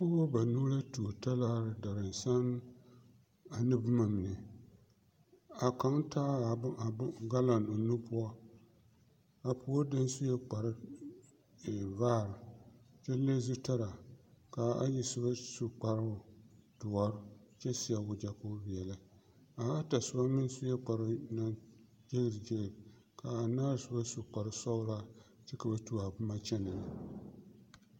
Pɔɡeba banuu la tuo talaare daransama ane boma mine a kaŋ taa ɡalɔn o nu poɔ a puori deni sue kpartevaare kyɛ leŋ zutalaa ka a ayi soba su kparoo doɔre kyɛ seɛ waɡyɛ ka o veɛlɛ a ata soba meŋ sue kparoo naŋ e ɡeeseɡeese ka a anaare soba su korsɔɡelaa kyɛ ka ba tuo a boma kyɛnɛ ne.